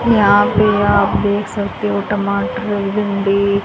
यहां पे आप देख सकते हो टमाटर भिंडी--